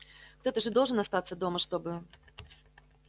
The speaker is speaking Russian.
кто-то же должен остаться дома чтобы